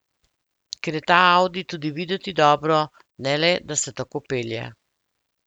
Ker je ta audi tudi videti dobro, ne le, da se tako pelje.